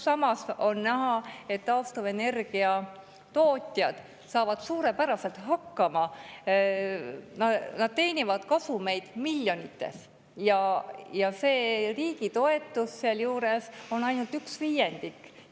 Samas on näha, et taastuvenergia tootjad saavad suurepäraselt hakkama, nad teenivad miljonites eurodes kasumeid ja see riigi toetus on sealjuures ainult üks viiendik.